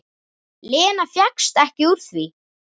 Lena fékkst ekki úr því.